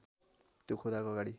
त्यो खुदाको अगाडि